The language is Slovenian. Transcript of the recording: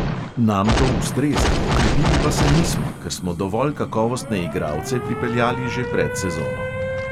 Nam to ustreza, okrepili pa se nismo, ker smo dovolj kakovostne igralce pripeljali že pred sezono.